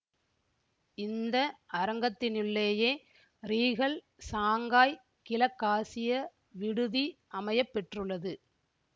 இந்த அரங்கத்தினுள்ளேயே Regal Shanghai கிழக்காசியா விடுதி அமைய பெற்றுள்ளது